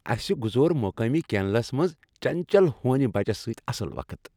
اسِہ گزور مقٲمی کینلس منٛز چنچل ہونِیہ بچس سۭتۍ اصل وقت ۔